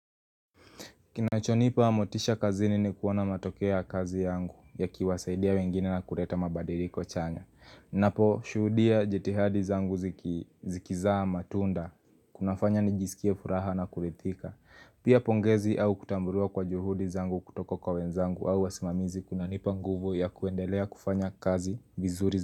Kinachonipa motisha kazini ni kuwana matokeo ya kazi yangu yakiwasaidia wengine na kuleta mabadiliko chanya. Ninapo shuhudia jitihadi zangu zikizaa matunda, kunafanya nijisikie furaha na kurithika. Pia pongezi au kutambuliwa kwa juhudi zangu kutoka kwa wenzangu au wasimamizi kunanipa nguvu ya kuendelea kufanya kazi vizuri.